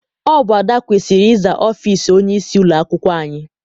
Ọ bụ Ada kwesịrị ịza ọfịịsi onyeisi ụlọakwụkwọ anyị.